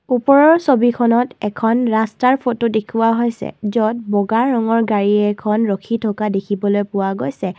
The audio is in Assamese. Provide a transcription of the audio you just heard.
ওপৰৰ ছবিখনত এখন ৰাস্তাৰ ফটো দেখুওৱা হৈছে য'ত বগা ৰঙৰ গাড়ী এখন ৰাখি থকা দেখিবলৈ পোৱা গৈছে।